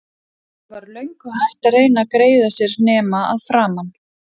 Lilla var löngu hætt að reyna að greiða sér nema að framan.